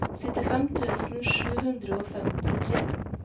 syttifem tusen sju hundre og femtitre